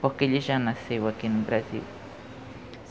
Porque ele já nasceu aqui no Brasil.